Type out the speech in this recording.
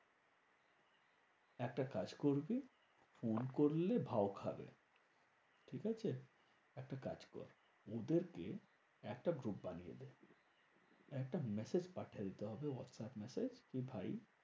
একটা কাজ করবি। ফোন করলে ভাও খাবে। ঠিকাছে? একটা কাজ কর ওদের কে একটা group বানিয়ে দে। একটা massage পাঠিয়ে দিতে হবে হোয়াটস্যাপ massage. কি ভাই